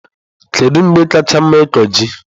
Kedu mgbe kacha mma ịkụ ji?